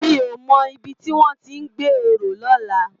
Mi ó mò ibi tiwòn ti n gbé óró lòlá